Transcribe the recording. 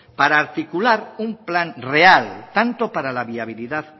para articular un plan real tanto para la viabilidad